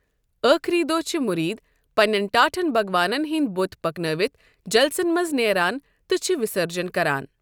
ٲخٕری دۄہ چھِ مُرید پننین ٹاٹھین بگوانَن ہٕنٛدۍ بُت پکنٲوِتھ جَلسن منٛز نٮ۪ران تہٕ چھِ وِسٔرجَن کران۔